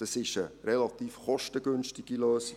Es ist eine relativ kostengünstige Lösung.